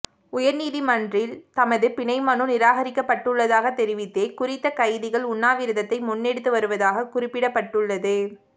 உயர்நீதிமன்றில் தமது பிணை மனு நிராகரிக்கப்பட்டுள்ளதாக தெரிவித்தே குறித்தகைதிகள் உண்ணாவிரதத்தை முன்னெடுத்து வருவதாக குறிப்பிடப்பட்டுள்ளது